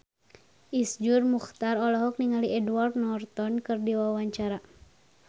Iszur Muchtar olohok ningali Edward Norton keur diwawancara